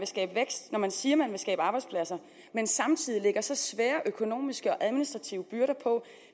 skabe vækst når man siger at man vil skabe arbejdspladser men samtidig lægger så svære økonomiske og administrative byrder på